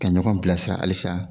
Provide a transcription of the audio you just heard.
Ka ɲɔgɔn bilasira halisa